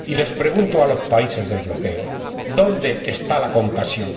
Y les pregunto a los países del bloqueo ¿Dónde está la compasión?